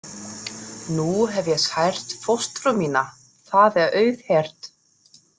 Nú hef ég sært fóstru mína, það er auðheyrt.